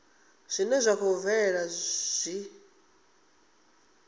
zwine zwa khou bvelela zwi